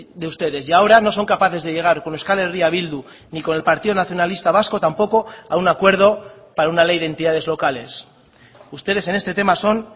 de ustedes y ahora no son capaces de llegar con euskal herria bildu ni con el partido nacionalista vasco tampoco a un acuerdo para una ley de entidades locales ustedes en este tema son